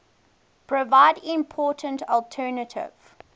provide important alternative